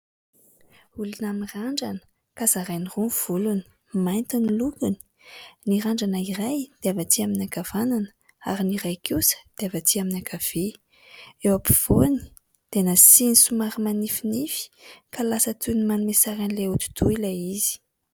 Olona nirandrana ka zarainy roa ny volony, mainty ny lokony. Ny randrana iray dia avy atsy amin'ny ankavanana ary ny iray kosa dia avy atsy amin'ny ankavia. Eo ampovoany dia nasiany somary manifinify, ka lasa toy ny manome sary an'ilay hodi-doha ilay izy.